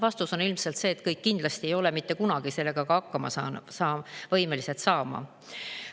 Vastus on ilmselt see, et kõik kindlasti ei ole mitte kunagi võimelised seal hakkama saama.